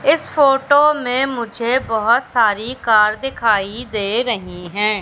इस फोटो में मुझे बहोत सारी कार दिखाई दे रही है।